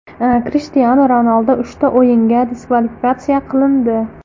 Krishtianu Ronaldu uchta o‘yinga diskvalifikatsiya qilindi.